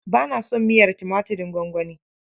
Ba na son miyar tumaturin gwangwani.